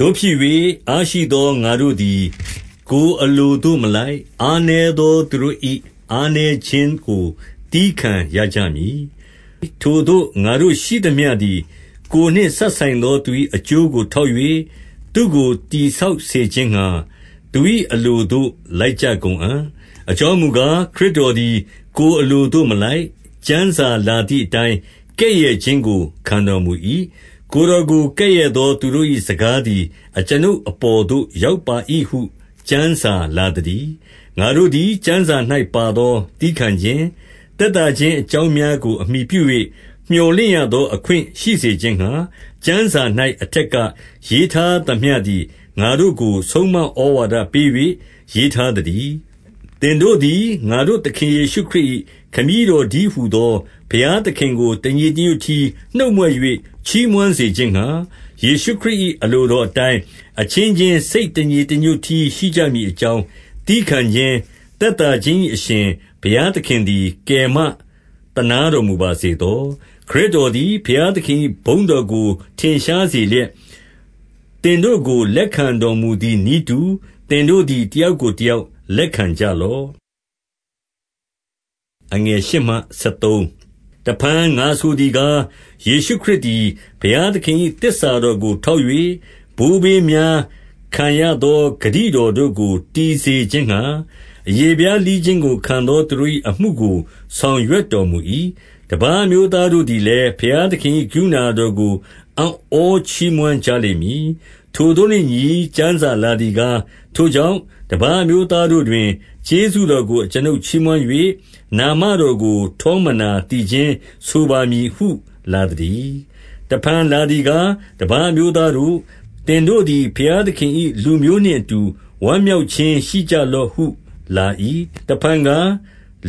သို့ဖြစ်၍၊ အားရှိသောငါတို့သည် ကိုယ်အလိုသို့မလိုက်၊ အားနည်းသောသူတို့၏ အားနည်းခြင်းကို သည်းခံရကြမည်။ 2 ထိုသို့ငါရှိသမျှသည်ကိုယ်နှင့်စပ်ဆိုင်သော သူ၏ အကျိုးကို ထောက်၍၊ သူ့ကိုတည်ဆောက်စေခြင်းငှါ သူ၏ အလိုသို့ လိုက်ကြကုန်အံ့။ 3 အကြောင်းမူကား၊ ခရစ်တော်သည်ကိုယ်အလိုသို့ မလိုက်။ ကျမ်းစာလာသည်အတိုင်း ကဲ့ရဲ့ခြင်းကို ခံရတော်မူ၏။ ကိုယ်တော်ကို ကဲ့ရဲ့သော သူတို့၏စကားသည် အကျွန်ုပ်အပေါ်သို့ ရောက်ပါ၏ဟု ကျမ်းစာလာ သတည်း။ 4 ငါတို့သည် ကျမ်းစာ၌ပါသောသည်းခံခြင်း၊ သက်သာခြင်း အကြောင်းများကိုအမှီပြု၍ မြော်လင့်ရ သော အခွင့်ရှိစေခြင်းငှါ၊ ကျမ်းစာ၌ အထက်ကရေးထားသမျှသည် ငါတို့ကို ဆုံးမဩဝါဒပေး၍ ရေးထား သတည်း။ 5 သင်တို့သည် ငါတို့ သခင်ယေရှုခရစ်၏ ခမည်းတော်တည်းဟူသော ဘုရားသခင်ကို တညီ တညွတ်တည်း နှုတ်မြွက်၍ ချီးမွမ်းစေခြင်းငှါ၊ 6 ယေရှုခရစ်၏အလိုတော်အတိုင်း အချင်းချင်း စိတ်တညီတညွတ်တည်းရှိကြမည်အကြောင်း၊ သည်းခံ ခြင်း၊ သက်သာခြင်း၏အရှင်၊ ဘုရားသခင်သည် ကယ်မ သနားတော်မူပါစေသော။ 7 ခရစ်တော်သည် ဘုရားသခင်၏ဘုန်းတော်ကို ထင်ရှားစေလျက်၊ သင်တို့ကိုလက်ခံ တော်မူသည်နည်းတူ၊ သင်တို့သည် တယောက်ကိုတယောက်လက်ခံကြလော့။ 8 တဖန်ငါဆိုသည်ကား၊ ယေရှုခရစ်သည် ဘုရားသခင်၏ သစ္စာတော်ကို ထောက်၍၊ ဘိုးဘေးများခံရသော ဂတိတော်တို့ကိုတည်စေခြင်းငှါ၊ 9 အရေဖျားလှီးခြင်းကိုခံသော သူတို့၏အမှုကို ဆောင်ရွက်တော်မူ၏။ တပါးအမျိုးသားတို့သည်လည်း၊ ဘုရားသခင်၏ကရုဏာတော်ကို အံ့ဩချီးမွမ်းကြလိမ့်မည်။ ထိုသို့နှင့်အညီ ကျမ်းစာလာသည်ကား၊ ထိုကြောင့်တပါးအမျိုးသားတို့တွင် ကျေးဇူးတော်ကို အကျွန်ုပ်ချီးမွမ်း၍၊ နာမတော်ကို ထောမနာသီချင်း ဆိုပါမည်ဟု လာသတည်း။ 10 တဖန်လာသည်ကား ၊ တပါးအမျိုးသားတို့၊ သင်တို့သည် ဘုရားသခင်၏လူမျိုးနှင့်အတူ ဝမ်းမြောက် ခြင်းရှိကြလော့ဟုလာ၏။ 11 တဖန်ကား၊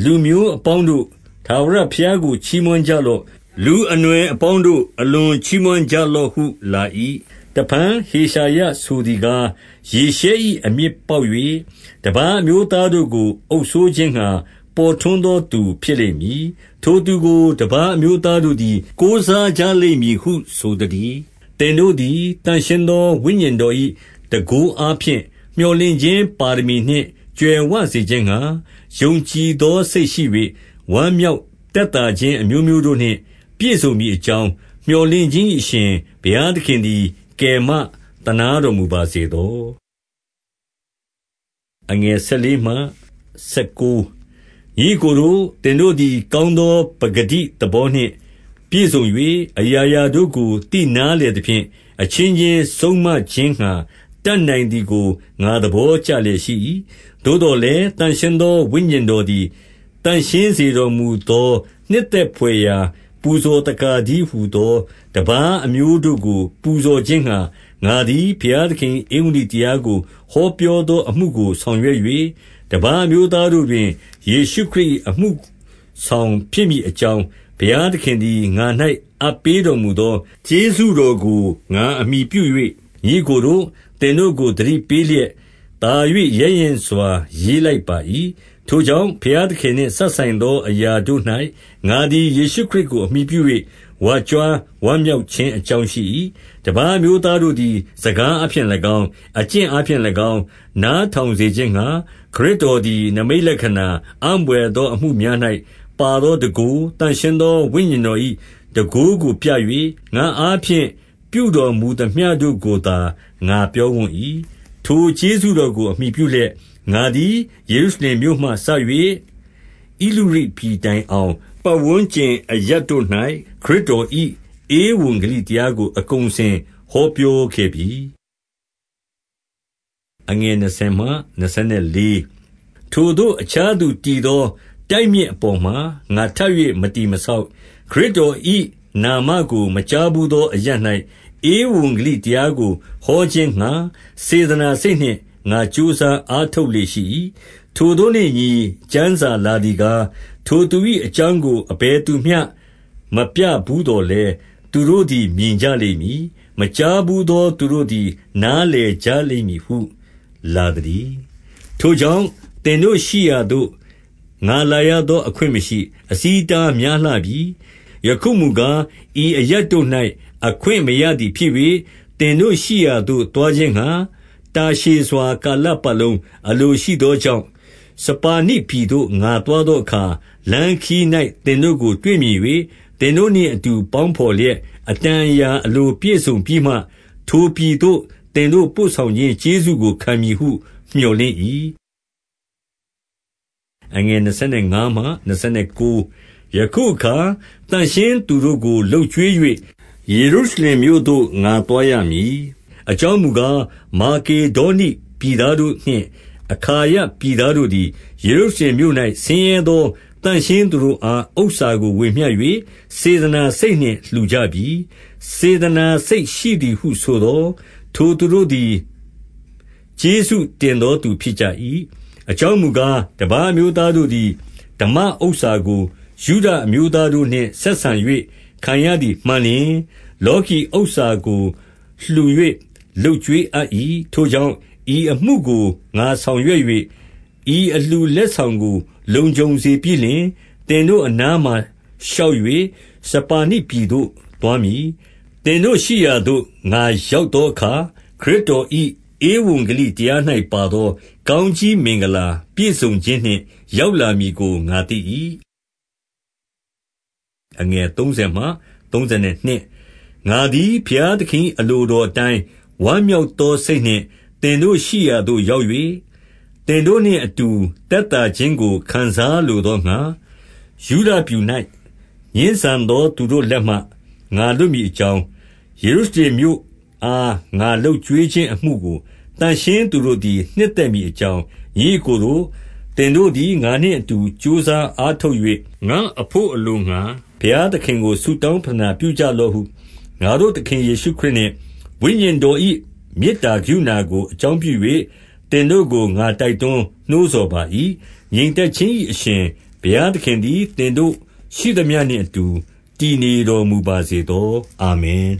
လူမျိုးအပေါင်းတို့၊ ထာဝရဘုရားကို ချီးမွမ်းကြလော့။ လူအနွယ်အပေါင်းတို့၊ အလွန်ချီးမွမ်း ကြလော့ဟုလာ၏။ 12 တဖန်ဟေရှာယဆိုသည်ကား၊ ယေရှဲ၏ အမြစ်ပေါက်၍ တပါးအမျိုးသားတို့ကို အုပ်စိုးခြင်းငှါ ပေါ်ထွန်းသောသူဖြစ်လိမ့်မည်။ ထိုသူကို တပါးအမျိုးသားတို့သည် ကိုးစားကြလိမ့်မည်ဟုဆိုသတည်း။ 13 သင်တို့သည်သန့်ရှင်းသောဝိညာဉ်တော်၏ တန်ခိုးအားဖြင့် မြော်လင့်ခြင်းပါရမီနှင့်ကြွယ်ဝစေခြင်းငှါ၊ ယုံကြည်သောစိတ်ရှိ၍ ဝမ်းမြောက်သက်သာခြင်း အမျိုးမျိုးတို့နှင့်ပြည့်စုံမည်အကြောင်း၊ မြော်လင့် ခြင်း၏အရှင်၊ ဘုရားသခင်သည် ကယ်မသနားတော်မူပါ စေသော။ 14 ညီအစ်ကိုတို့၊ သင်တို့သည် ကောင်းသောပကတိ သဘောနှင့် ပြည့်စုံ၍ အရာရာတို့ကို သိနားလည်သဖြင့်၊ အချင်းချင်းဆုံးမခြင်းငှါ တတ်နိုင်သည်ကို ငါသဘော ကျလျက်ရှိ၏။ 15 သို့သော်လည်း၊ သန့်ရှင်းသောဝိညာဉ်တော်သည် သန့်ရှင်းစေတော်မူသော နှစ်သက်ဘွယ်ရာ ပူဇော်သက္ကာတည်းဟူသော တပါးအမျိုးတို့ကို ပူဇော်ခြင်းငှါ ငါသည် ဘုရားသခင်၏ ဧဝံဂေလိတရားကိုဟော ပြောသောအမှုကို ဆောင်ရွက်၍၊ 16 တပါးအမျိုးသားတို့တွင် ယေရှုခရစ်၏ အမှုဆောင်ဖြစ်မည်အကြောင်း၊ ဘုရားသခင်သည် ငါ၌အပ်ပေးတော်မူသော ကျေးဇူးတော်ကို ငါအမှီ ပြု၍၊ ညီအစ်ကိုတို့၊ သင်တို့ကို သတိပေးလျက်သာ၍ ရဲရင့်စွာ ရေးလိုက်ပါ၏။ 17 ထိုကြောင့်၊ ဘုရားသခင်နှင့်စပ်ဆိုင်သောအရာတို့၌ ငါသည် ယေရှုခရစ်ကို အမှီပြု၍ ဝါကြွားဝမ်းမြောက် ခြင်းအကြောင်းရှိ၏။ 18 တပါးအမျိုးသားတို့သည် စကားအားဖြင့်၎င်း၊ အကျင့်အားဖြင့်၎င်း၊ နားထောင်စေခြင်းငှါ၊ ခရစ်တော်သည် နိမိတ်လက္ခဏာ၊ အံ့ဘွယ်သောအမှုများ၌ ပါသောတန်ခိုး၊ သန့်ရှင်းသော ဝိညာဉ်တော်၏ တန်ခိုးကိုပြ၍၊ ငါ့အားဖြင့်ပြုတော်မူသမျှတို့ကိုသာ ငါပြောဝံ့၏။ 19 ထိုကျေးဇူးတော်ကိုအမှီပြုလျက်၊ ငါသည် ယေရုရှလင်မြို့မှစ၍ ဣလုရိတ်ပြည်တိုင်အောင် ပတ်ဝန်းကျင်အရပ်တို့၌ ခရစ်တော်၏ ဧဝံအောင်ပတ်ဝန်းကျင် အရပ်တို့၌ ခရစ်တော်၏ ဧဝံဂေလိတရားကို အကုန်အစင်ဟောပြောခဲ့ပြီ။ 20 ထိုသို့အခြားသူတည်သော တိုက်မြစ်အပေါ်မှာ ငါထပ်၍ မတည်မဆောက်။ ခရစ်တော်၏နာမကို မကြားဘူးသော အရပ်၌ ဧဝံဂေလိတရားကိုဟောခြင်းငှါ စေတနာစိတ်နှင့် ငါကြိုးစားအားထုတ်လေ့ရှိ၏။ 21 ထိုသို့နှင့်အညီ ကျမ်းစာလာသည်ကား၊ ထိုသူ၏ အကြောင်းကို အဘယ်သူမျှမပြဘူးသော်လည်း၊ သူတို့ သည် မြင်ကြလိမ့်မည်။ မကြားဘူးသောသူတို့သည် နားလည်ကြလိမ့်မည်ဟု လာသတည်း။ 22 ထိုကြောင့် သင်တို့ရှိရာသို့ ငါလာရသော အခွင့် မရှိ။ အဆီးအတားများလှပြီ။ 23 ယခုမူကား၊ ဤအရပ်တို့၌အခွင့်မရသည်ဖြစ်၍၊ သင်တို့ရှိရာ သို့သွားခြင်းငှါ တာရှည်စွာ ကာလပတ်လုံး အလိုရှိသောကြောင့်၊ 24 စပါနိပြည်သို့ငါသွားသောအခါ၊ လမ်းခရီး၌ သင်တို့ကို တွေ့မြင်၍ သင်တို့နှင့်အတူပေါင်းဘော်လျက် အတန်အရာအလို ပြည့်စုံပြီးမှ၊ ထိုပြည်သို့သင်တို့ ပို့ဆောင်ခြင်းကျေးဇူးကို ခံမည်ဟု မြော်လင့်၏။ 25 ယခုအခါသန့်ရှင်းသူတို့ကိုလုပ်ကျွေး၍၊ ယေရုရှလင်မြို့သို့ ငါသွားရမည်။ 26 အကြောင်းမူကား၊ မာကေဒေါနိပြည်သားတို့နှင့် အခါယပြည်သားတို့သည်၊ ယေရုရှလင်မြို့၌ ဆင်းရဲသော သန့်ရှင်းသူတို့အား ဥစ္စာကို ဝေမျှ၍ စေတနာစိတ်နှင့် လှူကြပြီ။ 27 စေတနာစိတ်ရှိသည်ဟုဆိုသော်၊ ထိုသူတို့သည် ကျေးဇူးတင်သောသူဖြစ်ကြ၏။ အကြောင်းမူကား၊ တပါးအမျိုးသားတို့သည် ဓမ္မဥစ္စာကို ယုဒအမျိုးသား တို့နှင့် ဆက်ဆံ၍ခံရသည်မှန်လျှင်၊ လောကီဥစ္စာကို လှူ၍ လုပ်ကျွေးအပ်၏။ 28 ထိုကြောင့်၊ ဤအမှုကို ငါဆောင်ရွက်၍ ဤအလှူလက်ဆောင်ကို လုံခြုံစေပြီးလျှင်၊ သင်တို့အနားမှာ ရှောက်၍ စပါနိပြည်သို့သွားမည်။ 29 သင်တို့ရှိရာသို့ ငါရောက်သောအခါ၊ ခရစ်တော်၏ ဧဝံဂေလိတရား၌ ပါသောကောင်းကြီး မင်္ဂလာ ပြည့်စုံခြင်းနှင့် ရောက်လာမည်ကို ငါသိ၏။ 30 ငါသည်ဘုရားသခင်၏ အလိုတော်အတိုင်း ဝမ်းမြောက်သော စိတ်နှင့်သင်တို့ရှိရာသို့ ရောက်၍ သင်တို့နှင့်အတူသက်သာခြင်းကို ခံစားလိုသောငှါ၊ 31 ယုဒပြည်၌ ငြင်းဆန်သောသူတို့လက်မှ ငါလွတ်မည်အကြောင်း၊ ယေရုရှလင်မြို့အား ငါလုပ်ကျွေးခြင်း အမှုကို သန့်ရှင်းသူတို့သည် နှစ်သက်မည်အကြောင်း၊ ညီအစ်ကိုတို့၊ သင်တို့သည် ငါနှင့်အတူ ကြိုးစားအား ထုတ်၍ ငါ့အဘို့အလိုငှါ ဘုရားသခင်ကို ဆုတောင်း ပဌနာပြုကြလော့ဟု ငါတို့သခင်ယေရှုခရစ်နှင့် ဝိညာဉ် တော်၏ မေတ္တာကရုဏာကို အကြောင်းပြု၍သင်တို့ကို ငါတိုက်တွန်နှိုးဆော်ပါ၏။ 32 ငြိမ်သက်ခြင်း၏အရှင်၊ ဘုရားသခင်သည် သင်တို့ရှိသမျှနှင့်အတူ တည်နေတော် မူပါစေသော။ အာမင်။